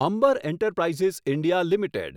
Amber Enterprises India limited